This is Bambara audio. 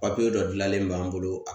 Papiye dɔ jilannen b'an bolo a